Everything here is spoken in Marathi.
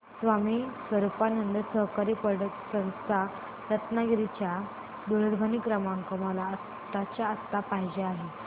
स्वामी स्वरूपानंद सहकारी पतसंस्था रत्नागिरी चा दूरध्वनी क्रमांक मला आत्ताच्या आता पाहिजे आहे